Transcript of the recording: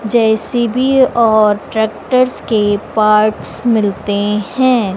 JCB और tractors के parts मिलते हैं।